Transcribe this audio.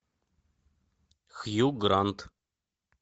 хью грант